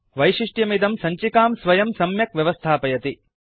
वैशिष्ट्यमिदं सञ्चिकां स्वयं सम्यक् व्यवस्थापयति